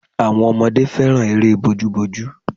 Àwọn ọmọdé fẹ́ràn eré bojúbojú